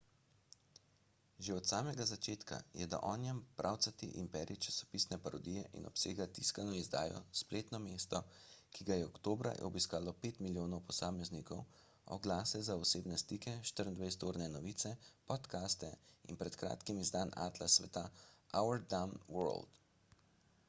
že od samega začetka je the onion pravcati imperij časopisne parodije in obsega tiskano izdajo spletno mesto ki ga je oktobra obiskalo 5.000.000 posameznikov oglase za osebne stike 24-urne novice podcaste in pred kratkim izdan atlas sveta our dumb world